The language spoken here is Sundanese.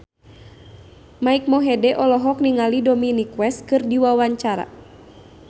Mike Mohede olohok ningali Dominic West keur diwawancara